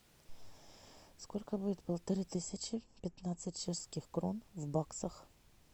сколько будет полторы тысячи пятнадцать чешских крон в баксах